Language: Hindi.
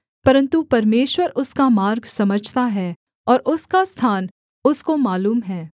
परन्तु परमेश्वर उसका मार्ग समझता है और उसका स्थान उसको मालूम है